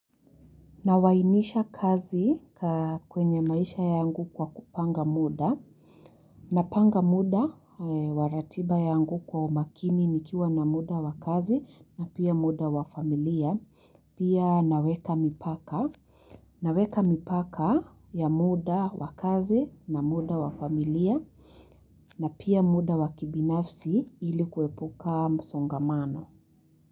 Nawahimisha kazi kwenye maisha yangu kwa kupanga muda. Napanga muda, wa ratiba yangu kwa umakini nikiwa na muda wa kazi na pia muda wa familia. Pia naweka mipaka. Naweka mipaka ya muda wakazi na muda wafamilia. Na pia muda wa kibinafsi ili kuwepuka msongamano.